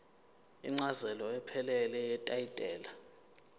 incazelo ephelele yetayitela